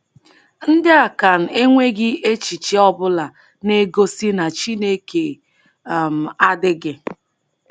Ndị Akan enweghị echiche ọbụla na-egosi na Chineke um adịghị.